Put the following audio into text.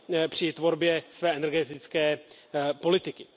při tvorbě své energetické politiky.